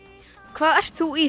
hvað ert þú í